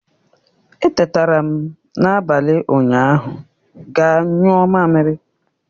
Etetara m n'abalị ụnyaahụ ga nyuo mamiri